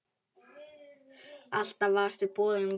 Alltaf varstu boðinn og búinn.